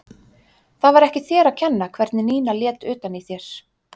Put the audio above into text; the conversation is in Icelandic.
Það var ekki þér að kenna hvernig Nína lét utan í þér.